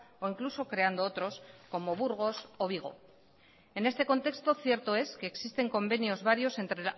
o incluso creando otros como burgos o vigo en este contexto cierto es que existen convenios varios entre